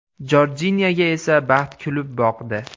Jorjinyaga esa baxt kulib boqdi.